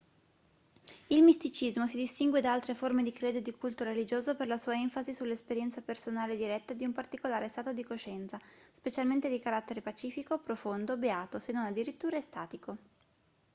il misticismo si distingue da altre forme di credo e di culto religioso per la sua enfasi sull'esperienza personale diretta di un particolare stato di coscienza specialmente di carattere pacifico profondo beato se non addirittura estatico